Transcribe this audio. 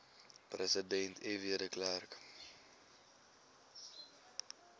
president fw de